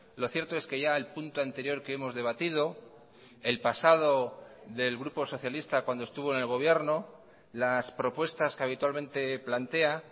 lo cierto es que ya el punto anterior que hemos debatido el pasado del grupo socialista cuando estuvo en el gobierno las propuestas que habitualmente plantea